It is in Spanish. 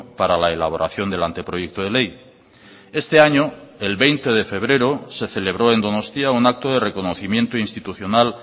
para la elaboración del anteproyecto de ley este año el veinte de febrero se celebró en donostia un acto de reconocimiento institucional